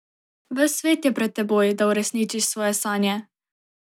Ves svet je pred teboj, da uresničiš svoje sanje!